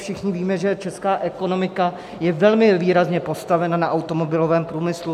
Všichni víme, že česká ekonomika je velmi výrazně postavena na automobilovém průmyslu.